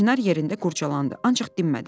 Çinar yerində qurcalandı, ancaq dinmədi.